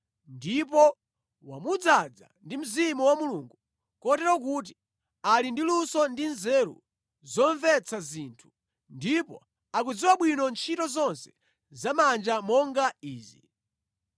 ndipo wamudzaza ndi Mzimu wa Mulungu kotero kuti ali ndi luso ndi nzeru zomvetsa zinthu, ndipo akudziwa bwino ntchito zonse zamanja monga izi: